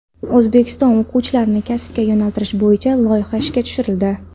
O‘zbekistonda o‘quvchilarni kasbga yo‘naltirish bo‘yicha loyiha ishga tushirildi.